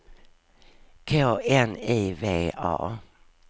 K N I V A